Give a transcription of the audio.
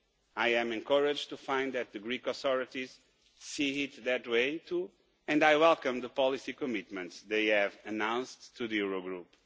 I am encouraged to find that the Greek authorities see it that way too, and I welcome the policy commitments they have announced to the Eurogroup.